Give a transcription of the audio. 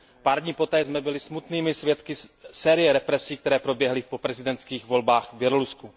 Pár dní poté jsem byli smutnými svědky série represí, které proběhly po prezidentských volbách v Bělorusku.